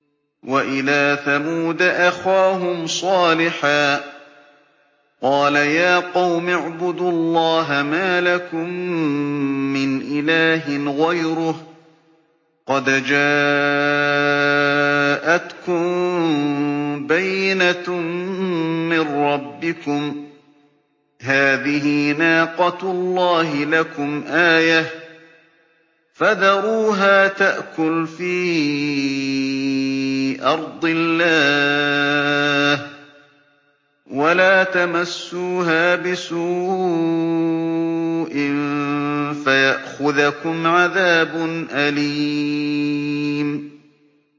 وَإِلَىٰ ثَمُودَ أَخَاهُمْ صَالِحًا ۗ قَالَ يَا قَوْمِ اعْبُدُوا اللَّهَ مَا لَكُم مِّنْ إِلَٰهٍ غَيْرُهُ ۖ قَدْ جَاءَتْكُم بَيِّنَةٌ مِّن رَّبِّكُمْ ۖ هَٰذِهِ نَاقَةُ اللَّهِ لَكُمْ آيَةً ۖ فَذَرُوهَا تَأْكُلْ فِي أَرْضِ اللَّهِ ۖ وَلَا تَمَسُّوهَا بِسُوءٍ فَيَأْخُذَكُمْ عَذَابٌ أَلِيمٌ